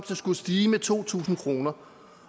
skulle stige med to tusind kroner